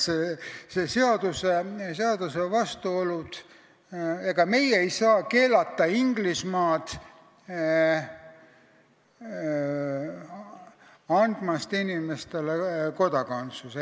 Ega meie ei saa ei üksikisikutena ega Eesti riigina keelata Inglismaal andmast inimestele kodakondsust.